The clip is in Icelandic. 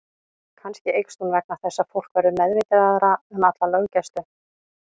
Kannski eykst hún vegna þess að fólk verður meðvitaðra um alla löggæslu.